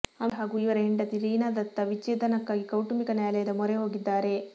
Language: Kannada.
ಅಮೀರ್ ಹಾಗೂ ಇವರ ಹೆಂಡತಿ ರೀನಾ ದತ್ತ ವಿಚ್ಛೇದನಕ್ಕಾಗಿ ಕೌಟುಂಬಿಕ ನ್ಯಾಯಾಲಯದ ಮೊರೆಹೋಗಿದ್ದಾರೆ